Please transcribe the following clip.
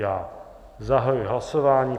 Já zahajuji hlasování.